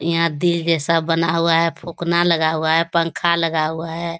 यहाँ दिल जैसा बना हुआ है फुकना लगा हुआ है पंखा लगा हुआ है ।